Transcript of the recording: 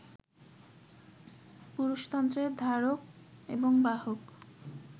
পুরুষতন্ত্রের ধারক এবং বাহক